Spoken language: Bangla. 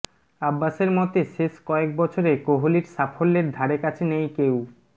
আব্বাসের মতে শেষ কয়েক বছরে কোহলির সাফল্যের ধারেকাছে নেই কেউ